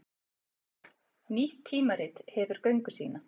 Nýtt tímarit hefur göngu sína